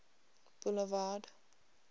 boulevard